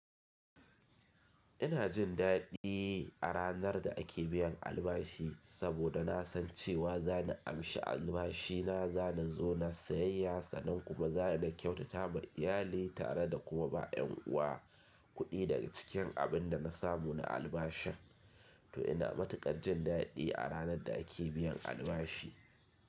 Ina jin daɗi a ranar da ake biyan albashi saboda na san cewa za ni amshi albashi na, za na zo na sayayya sannan kuma za ni kyautata wa iyali tare da kuma ba ƴan uwa kuɗi daga cikin abin da na samu na albashin, to ina matuƙar jin daɗi a ranar da ake biyan albashi.